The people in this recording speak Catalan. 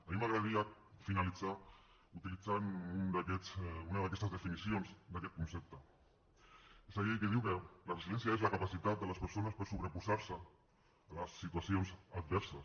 a mi m’agradaria finalitzar utilitzant una d’aquestes definicions d’aquest concepte és aquella que diu que la resiliència és la capacitat de les persones per sobreposar se a les situacions adverses